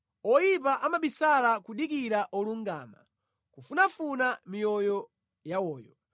Oyipa amabisala kudikira olungama; kufunafuna miyoyo yawoyo;